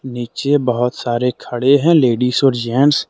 नीचे बहुत सारे खड़े हैं लेडिस और जेंट्स ।